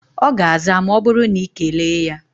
Ọ ga-aza ma ọ bụrụ na ị na-ekele ya